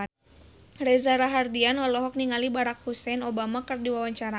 Reza Rahardian olohok ningali Barack Hussein Obama keur diwawancara